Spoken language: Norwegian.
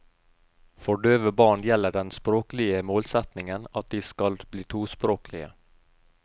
For døve barn gjelder den språklige målsetningen at de skal bli tospråklige.